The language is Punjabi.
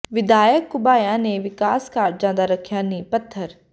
ਵਿਧਾਇਕ ਘੁਬਾਇਆ ਨੇ ਵਿਕਾਸ ਕਾਰਜਾਂ ਦਾ ਰੱਖਿਆ ਨੀਂਹ ਪੱਥਰ